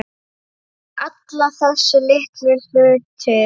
Alla þessa litlu hluti.